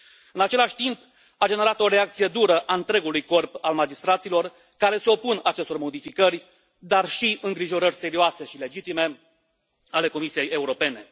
În același timp, a generat o reacție dură a întregului corp al magistraților, care se opun acestor modificări, dar și îngrijorări serioase și legitime ale Comisiei Europene.